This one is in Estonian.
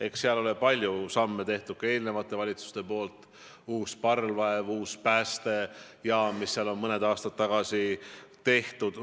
Eks seal ole palju samme astunud ka eelmised valitsused: uus parvlaev, uus päästejaam, mis on mõni aasta tagasi tehtud.